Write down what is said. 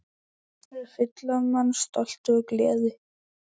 Fylla mann stolti og gleði.